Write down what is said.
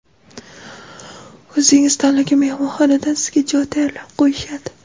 O‘zingiz tanlagan mehmonxonadan sizga joy tayyorlab qo‘yishadi.